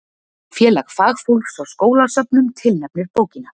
Félag fagfólks á skólasöfnum tilnefnir bókina